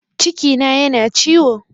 Cikina yana ciwo